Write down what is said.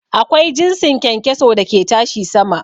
Akwai jinsin kyankyaso da ke tashi sama.